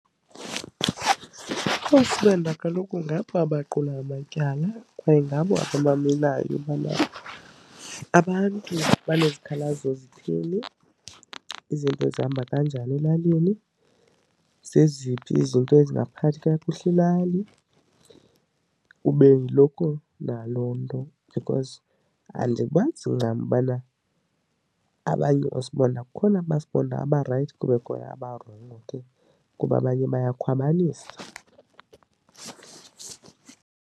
oosibonda kaloku ngabo abaqula amatyala kwaye ngabo abamamelayo into yobana abantu abanezikhalazo zithini, izinto zihamba kanjani elalini, zeziphi izinto ezingaphathi kakuhle ilali kube yiloko naloo nto. Because andibazi ncam ubana abanye oosibonda, kukhona aba sibonda abarayithi kubekho abarongo ke kuba abanye bayakhwabanisa.